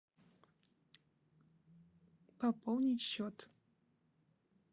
пополнить счет